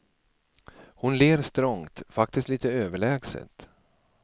Hon ler strongt, faktiskt lite överlägset.